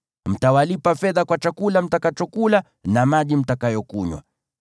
Mtawalipa fedha kwa chakula mtakachokula na maji mtakayokunywa.’ ”